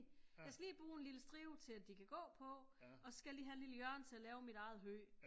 Jeg skal lige bruge en lille stribe til at de kan gå på og så skal jeg lige have et lille hjørne til at lave mit eget hø